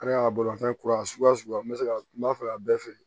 A ka bolimafɛn kura sugu n bɛ se ka n b'a fɛ ka bɛɛ feere